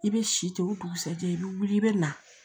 I bɛ si ten o dugusajɛ i bɛ wuli i bɛ na